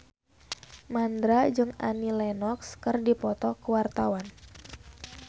Mandra jeung Annie Lenox keur dipoto ku wartawan